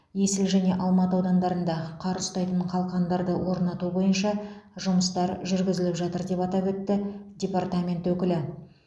есіл және алматы аудандарында қар ұстайтын қалқандарды орнату бойынша жұмыстар жүргізіліп жатыр деп атап өтті департамент өкілі